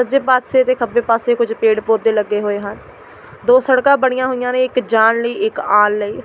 ਸੱਜੇ ਪਾਸੇ ਤੇ ਖੱਬੇ ਪਾਸੇ ਕੁੱਝ ਪੇੜ੍ਹ ਪੋਦੇਪੌਦੇ ਲੱਗੇ ਹੋਏ ਹਨ ਦੋ ਸੜਕਾਂ ਬਣੀਆਂ ਹੋਈਆਂ ਨੇ ਇੱਕ ਜਾਣ ਲਈ ਇੱਕ ਆਉਣ ਲਈ।